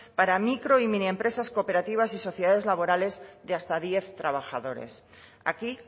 para micro y mini empresas cooperativas y sociedades laborales de hasta diez trabajadores aquí